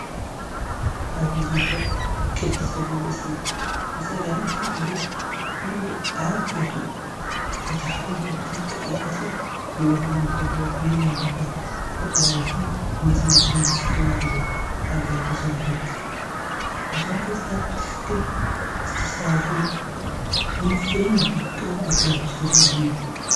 ኣብዚ ዝርአ ቅዲ ጸጉሪ ርእሲ እዩ። ብጸጋም እቲ ጸጉሪ ብኢድ ኣብ ቦታኡ ተታሒዙ ብጥንቃቐ ቅርጺ ክወሃቦ እንከሎ፡ ብየማን ድማ ብቐለቤትን መስመራትን ብዝተዋደደ ኣገባብ ተሰሪሑ ይርከብ። እቶም ቅርጽታት ብትኽክል ዝተስተኻኸሉን ብንጹርን ብውቁብን ኣገባብ ዝተሰርሑን እዮም።